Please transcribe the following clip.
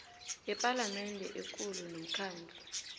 yepalamende ekulu nomkhandlu